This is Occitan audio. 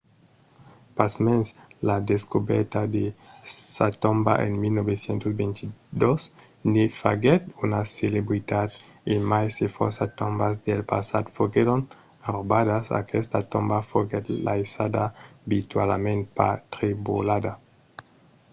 pasmens la descobèrta de sa tomba en 1922 ne faguèt una celebritat. e mai se fòrça tombas del passat foguèron raubadas aquesta tomba foguèt laissada virtualament pas trebolada